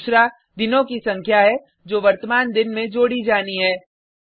दूसरा दिनों की संख्या है जो वर्तमान दिन में जोड़ी जानी है